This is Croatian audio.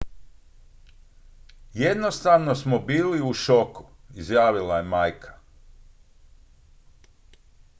"""jednostavno smo bili u šoku" izjavila je majka.